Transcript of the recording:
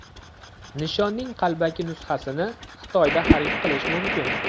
Nishonning qalbaki nusxasini Xitoyda xarid qilish mumkin.